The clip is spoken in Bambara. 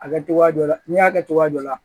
A kɛ cogoya dɔ la n'i y'a kɛ cogoya dɔ la